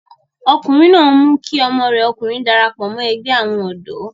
ọkùnrin náà mú kí ọmọ rẹ̀ ọkùnrin darapọ̀ mọ́ ẹgbẹ́ àwọn ọ̀dọ́